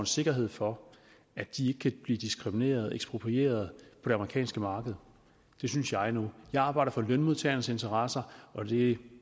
sikkerhed for at de ikke kan blive diskrimineret eksproprieret på det amerikanske marked det synes jeg nu jeg arbejder for lønmodtagernes interesser og det